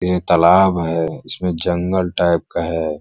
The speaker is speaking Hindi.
यह तालाब है इसमें जंगल टाएप का है।